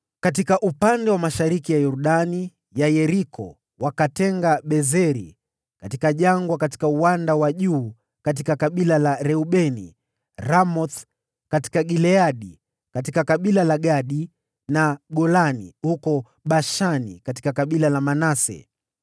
Katika upande wa mashariki mwa Yordani ya Yeriko wakatenga Bezeri katika jangwa katika uwanda wa juu katika kabila la Reubeni, Ramothi katika Gileadi katika kabila la Gadi, na Golani huko Bashani katika kabila la Manase.